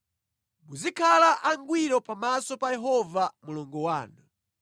Muzikhala angwiro pamaso pa Yehova Mulungu wanu.